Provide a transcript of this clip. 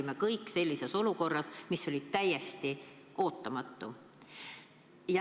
Me kõik olime olukorras, mis oli täiesti ootamatu.